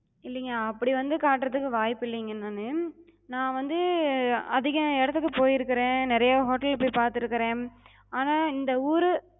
இல்லிங்க அப்டி வந்து காட்றதுக்கு வாய்ப்பு இல்லிங்க நானு. நா வந்து அதிக இடத்துக்குப் போயிருக்குறே, நெறைய hotel போய்ப் பாத்திருக்குறே. ஆனா இந்த ஊரு